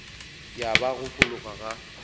ya ba go fologa ga